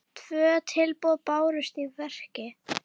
Tvö tilboð bárust í verkið.